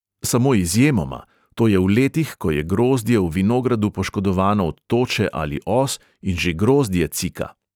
Samo izjemoma: to je v letih, ko je grozdje v vinogradu poškodovano od toče ali os in že grozdje cika.